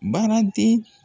Baaraden.